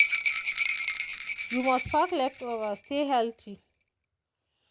you must pack leftover stay healthy.